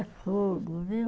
É fogo, viu?